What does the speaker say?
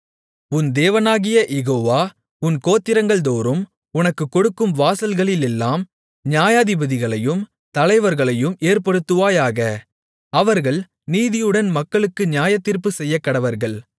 உன் தேவனாகிய யெகோவா உன் கோத்திரங்கள்தோறும் உனக்குக் கொடுக்கும் வாசல்களிலெல்லாம் நியாயாதிபதிகளையும் தலைவர்களையும் ஏற்படுத்துவாயாக அவர்கள் நீதியுடன் மக்களுக்கு நியாயத்தீர்ப்புச் செய்யக்கடவர்கள்